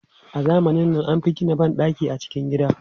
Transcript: A zamanin nan, an fi gina ban ɗaki a cikin gida.